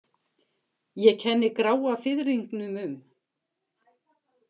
Ég kenni gráa fiðringnum um.